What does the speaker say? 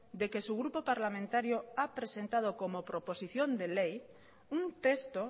de que su grupo parlamentario ha presentado como proposición de ley un texto